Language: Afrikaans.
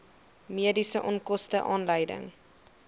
mediese onkoste aanleiding